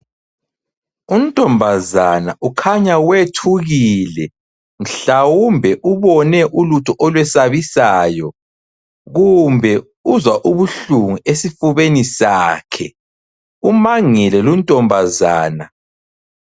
Untombazana ukhanya wethukile mhlawumbe ubone ulutho olwesabisayo kumbe uzwa ubuhlungu esifubeni sakhe ,umangele lo untombazana